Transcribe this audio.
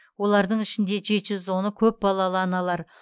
олардың ішінде жеті жүз оны көпбалалы аналар